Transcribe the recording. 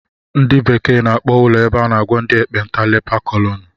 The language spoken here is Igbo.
Ndị bekee n'akpọ ụlọ ebe a n'agwọ ndị ekpenta leper colony